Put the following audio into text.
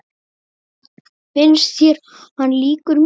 Finnst þér hann líkur mér?